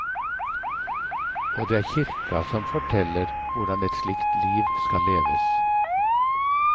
Og det er kirka som forteller hvordan et slikt liv skal leves.